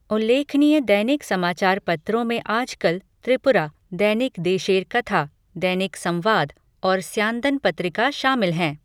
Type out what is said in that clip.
उल्लेखनीय दैनिक समाचार पत्रों में आजकल त्रिपुरा, दैनिक देशेर कथा, दैनिक संवाद और स्यांदन पत्रिका शामिल हैं।